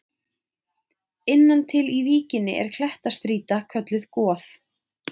Innan til í víkinni er klettastrýta kölluð Goð.